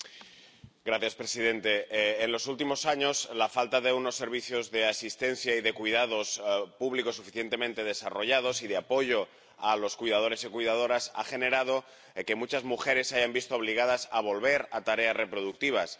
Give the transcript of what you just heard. Señor presidente, en los últimos años la falta de unos servicios de asistencia y de cuidados públicos suficientemente desarrollados y de apoyo a los cuidadores y cuidadoras ha generado que muchas mujeres se hayan visto obligadas a volver a desempeñar tareas de cuidados.